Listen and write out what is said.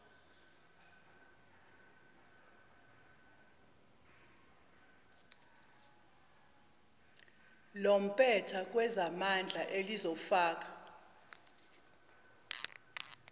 lompetha kwezamandla elizofaka